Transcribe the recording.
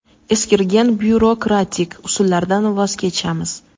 eskirgan byurokratik usullardan voz kechamiz.